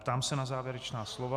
Ptám se na závěrečná slova.